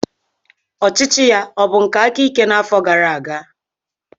Ọchịchị ya ọ bụ nke aka ike n'afọ gara aga?